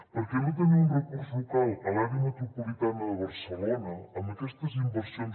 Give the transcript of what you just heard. perquè no tenir un recurs local a l’àrea metropolitana de barcelona amb aquestes inversions